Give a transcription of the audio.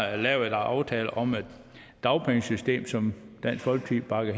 er lavet en aftale om et dagpengesystem som dansk folkeparti